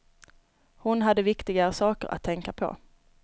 Hon hade viktigare saker att tänka på.